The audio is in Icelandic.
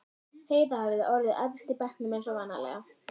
Heiða hafði orðið efst í bekknum eins og vanalega.